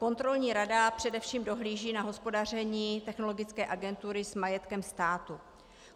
Kontrolní rada především dohlíží na hospodaření Technologické agentury s majetkem státu.